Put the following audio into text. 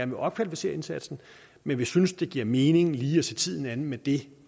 vil opkvalificere indsatsen men vi synes det giver mening lige at se tiden an med det